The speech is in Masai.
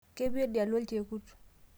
kepii oldia lonchekut